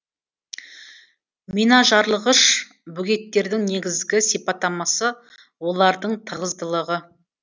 минажарылғыш бөгеттердің негізгі сипаттамасы олардың тығыздылығы